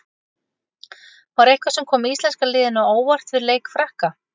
Var eitthvað sem kom íslenska liðinu á óvart við leik Frakka?